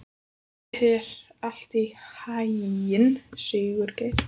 Gangi þér allt í haginn, Sigurgeir.